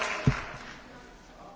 Tisztelt elnök úr!